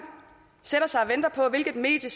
sætter sig og venter på hvilket medie